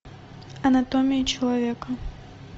анатомия человека